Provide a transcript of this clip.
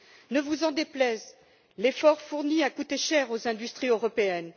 Ne vous en déplaise, l'effort fourni a coûté cher aux industries européennes.